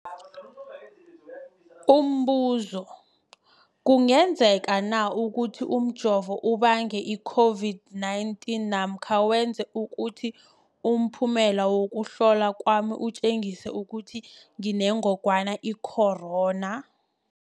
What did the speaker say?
Umbuzo, kungenzekana ukuthi umjovo ubange i-COVID-19 namkha wenze ukuthi umphumela wokuhlolwa kwami utjengise ukuthi nginengogwana i-corona?